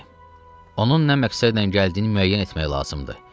Onun nə məqsədlə gəldiyini müəyyən etmək lazımdır.